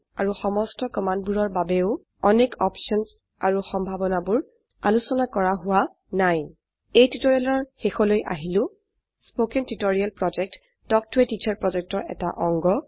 আৰু সমস্ত কমান্ডবোৰৰ বাবেও অনেক অপশনস আৰু সম্ভাৱনাবোৰ আলোচনা কৰা হোৱা নাই এই টিউটোৰিয়েলৰ শেষলৈ আহিলো কথন শিক্ষণ প্ৰকল্প তাল্ক ত a টিচাৰ প্ৰকল্পৰ এটা অংগ